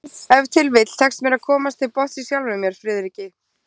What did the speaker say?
Ef til vill tekst mér að komast til botns í sjálfum mér, Friðriki